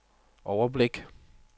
overblik